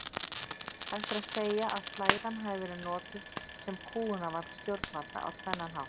Hægt er að segja að slæðan hafi verið notuð sem kúgunarvald stjórnvalda á tvennan hátt.